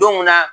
Don mun na